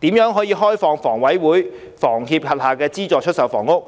就如何開放房委會和房協轄下的資助出售單位，